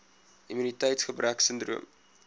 immuniteits gebrek sindroom